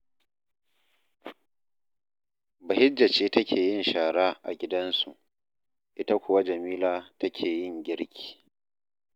Bahijja ce take yin shara a gidansu, ita kuwa Jamila take yin girki